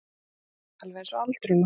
Alveg einsog aldurinn okkar.